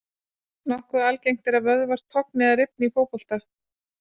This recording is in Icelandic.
Nokkuð algengt er að vöðvar togni eða rifni í fótbolta.